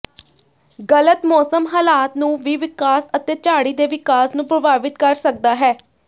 ਗਲਤ ਮੌਸਮ ਹਾਲਾਤ ਨੂੰ ਵੀ ਵਿਕਾਸ ਅਤੇ ਝਾੜੀ ਦੇ ਵਿਕਾਸ ਨੂੰ ਪ੍ਰਭਾਵਿਤ ਕਰ ਸਕਦਾ ਹੈ